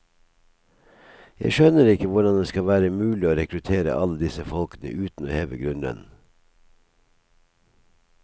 Jeg skjønner ikke hvordan det skal være mulig å rekruttere alle disse folkene uten å heve grunnlønnen.